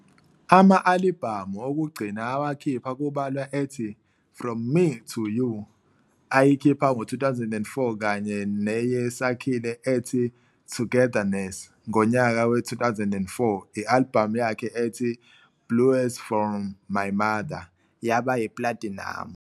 Ama-alibhamu okugcina awakhipha kubalwa ethi "From Me to You" ayikhipha nge-2004 kanye neye Sakhile ethi "Togetherness". Ngonyaka we-2004 i-alibhamu yakhe ethi "Blues for My Mother" yaba yi-plathinamu.